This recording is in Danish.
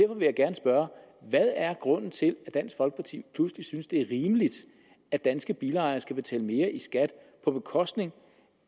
vil jeg gerne spørge hvad er grunden til at dansk folkeparti pludselig synes det er rimeligt at danske bilejere skal betale mere i skat på bekostning